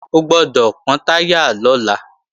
O gbọ́dọ̀ pọ́n táyà lọ́la!